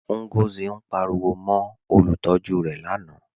Ngọzi ǹ pàríwò mó olùtọ̀jú rẹ̀ lánà